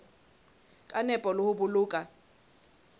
ka nepo le ho boloka